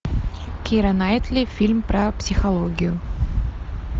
кира найтли фильм про психологию